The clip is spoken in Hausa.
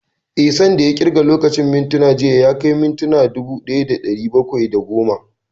Eh, san da ya ƙirga lokacin da mintuna jiya ya kai mintuna dubu ɗaya da ɗari bakwai da goma